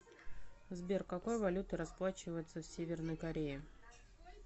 сбер какой валютой расплачиваются в северной корее